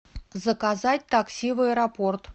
заказать такси в аэропорт